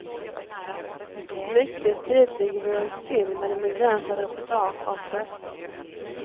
Mycket tidigt lägger vi oss till med en begränsad repertoar av gester.